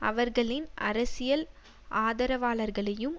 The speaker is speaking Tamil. அவர்களின் அரசியல் ஆதரவாளர்களையும்